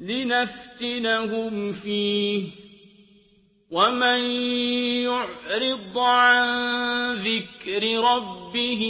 لِّنَفْتِنَهُمْ فِيهِ ۚ وَمَن يُعْرِضْ عَن ذِكْرِ رَبِّهِ